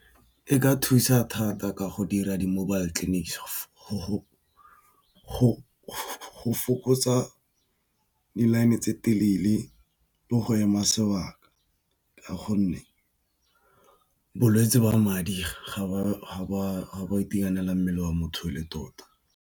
E ka thusa thata ka go dira di mobile clinics go fokotsa di-line tse telele le go ema sebaka ka gonne bolwetsi ba madi ga ba itekanelang mmele wa motho le tota.